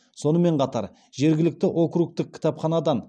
сонымен қатар жергілікті округтық кітапханадан